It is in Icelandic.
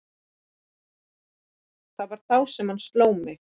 Það var þá sem hann sló mig.